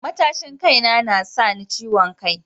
Matashin kai na sa ni ciwon kai